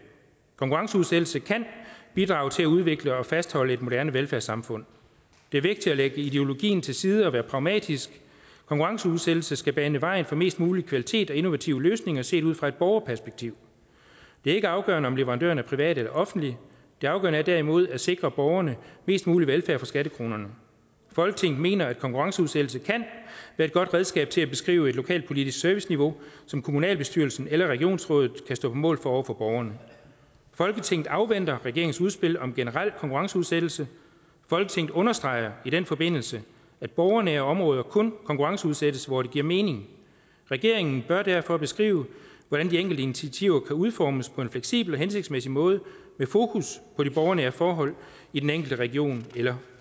konkurrenceudsættelse kan bidrage til at udvikle og fastholde et moderne velfærdssamfund det er vigtigt at lægge ideologien til side og være pragmatisk konkurrenceudsættelse skal bane vejen for mest mulig kvalitet og innovative løsninger set ud fra et borgerperspektiv det er ikke afgørende om leverandøren er privat eller offentlig det afgørende er derimod at sikre borgerne mest mulig velfærd for skattekronerne folketinget mener at konkurrenceudsættelse kan være et godt redskab til at beskrive et lokalpolitisk serviceniveau som kommunalbestyrelsen eller regionsrådet kan stå på mål for over for borgerne folketinget afventer regeringens udspil om generel konkurrenceudsættelse folketinget understreger i den forbindelse at borgernære områder kun konkurrenceudsættes hvor det giver mening regeringen bør derfor beskrive hvordan de enkelte initiativer kan udformes på en fleksibel og hensigtsmæssig måde med fokus på de borgernære forhold i den enkelte region eller